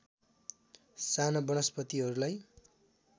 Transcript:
साना वनस्पतिहरूलाई